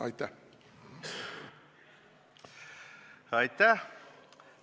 Aitäh!